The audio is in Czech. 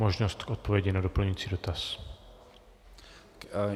Možnost k odpovědi na doplňující dotaz.